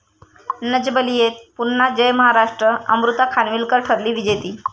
नच बलिये'त पुन्हा 'जय महाराष्ट्र', अमृता खानविलकर ठरली विजेती